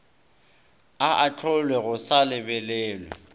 a ahlolwe go sa lebelelwe